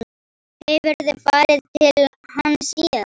Hefurðu farið til hans síðan?